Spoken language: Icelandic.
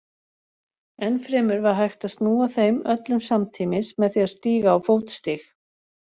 Ennfremur var hægt að snúa þeim öllum samtímis með því að stíga á fótstig.